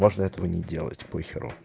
можно этого не делать по херу